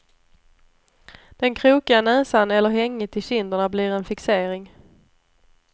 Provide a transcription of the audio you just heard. Den krokiga näsan eller hänget i kinderna blir en fixering.